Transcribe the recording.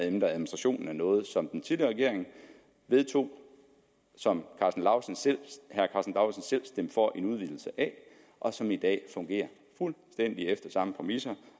ændret administrationen af noget som den tidligere regering vedtog som karsten lauritzen selv stemte for en udvidelse af og som i dag fungerer fuldstændig efter samme præmisser